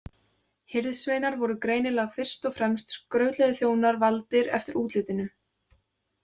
Hirðsveinar voru greinilega fyrst og fremst skrautlegir þjónar valdir eftir útlitinu.